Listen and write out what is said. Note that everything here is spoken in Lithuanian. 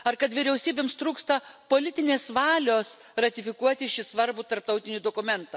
Ar kad vyriausybėms trūksta politinės valios ratifikuoti šį svarbų tarptautinį dokumentą?